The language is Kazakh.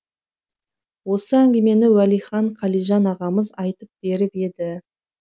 осы әңгімені уәлихан қалижан ағамыз айтып беріп еді